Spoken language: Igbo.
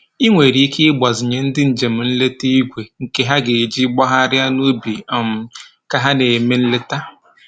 I nwere ike igbazinye ndị njem nleta igwe nke ha ga-eji gbagharịa n'ubi um ka ha na-eme nleta